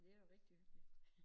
Men det jo rigtig hyggeligt